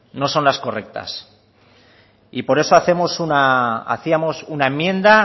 no son las correctas y por eso hacíamos una enmienda